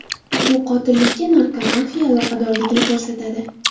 Bu qotillikka narkomafiya aloqadorligini ko‘rsatadi.